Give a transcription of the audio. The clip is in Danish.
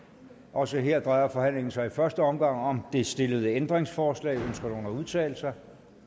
også her drejer forhandlingen sig i første omgang om det stillede ændringsforslag ønsker nogen at udtale sig